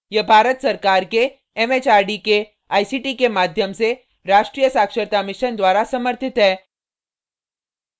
यह भारत सरकार के एमएचआरडी के आईसीटी के माध्यम से राष्ट्रीय साक्षरता mission द्वारा समर्थित है